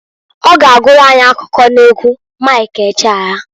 Ọ ga agụrụ anyị akụkọ n'egwu Mik Ejeaya.